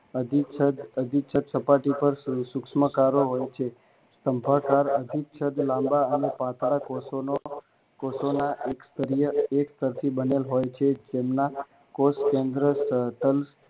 અધિચ્છદ સપાટી પર સૂક્ષ્મકારો હોય છે અંહસ્ત્રાવ અભિછેદ લાંબા અને પાતળા કોષોનો કોષોના એક સ્તરીય એક સ્તરથી બનેલ હોય છે જેમના કોષ કેન્દ્ર